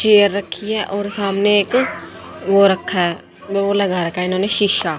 chair रखी है और सामने एक वो रखा है वो लगा रखा है इन्होंने शीशा--